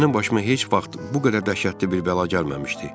Mənim başıma heç vaxt bu qədər dəhşətli bir bəla gəlməmişdi.